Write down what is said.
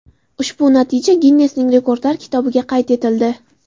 Ushbu natija Ginnesning Rekordlar kitobiga qayd etildi.